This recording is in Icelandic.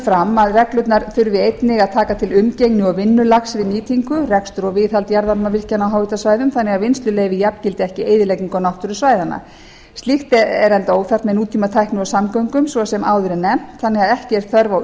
fram að reglurnar þurfi einnig að taka til umgengni og vinnulags við nýtingu rekstur og viðhald jarðvarmavirkjana á háhitasvæðum þannig að vinnsluleyfi jafngildi ekki eyðileggingu á náttúru svæðanna slíkt er enda óþarft með nútímatækni og samgöngum svo sem áður er nefnt þannig að ekki er þörf á